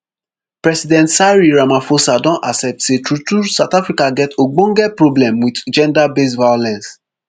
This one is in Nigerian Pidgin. president cyril ramaphosa don accept say truetrue south africa get ogbonge problem wit genderbased violence